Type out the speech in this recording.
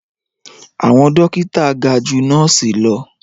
Àwọn dókítà ga ju nọ́ọ̀sì lọ